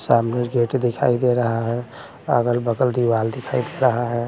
सामने से गेट दिखाई दे रहा है अगल-बगल दीवाल दिखाई दे रहा है।